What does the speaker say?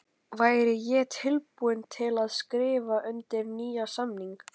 Væri ég tilbúinn til að skrifa undir nýjan samning?